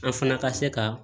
An fana ka se ka